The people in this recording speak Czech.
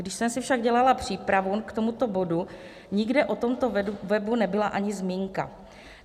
Když jsem si však dělala přípravu k tomuto bodu, nikde o tomto webu nebyla ani zmínka.